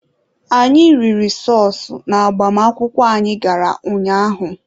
Anyị riri sọọsụ n'agbamakwụkwọ anyị gara ụnyaahụ.